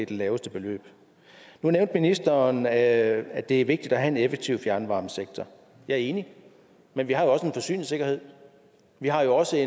det laveste beløb nu nævnte ministeren at det er vigtigt at have en effektiv fjernvarmesektor jeg er enig men vi har jo også en forsyningssikkerhed vi har jo også